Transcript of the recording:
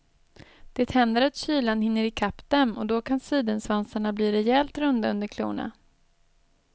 Det händer att kylan hinner ikapp dem och då kan sidensvansarna bli rejält runda under klorna.